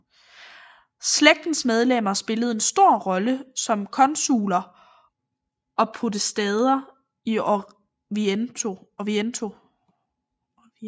Slægtens medlemmer spillede en stor rolle som konsuler og podestaer i Orvieto